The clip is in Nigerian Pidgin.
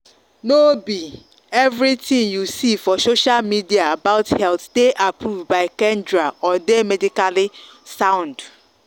no be everything you see for social media about health dey approved by kendra or dey medically sound.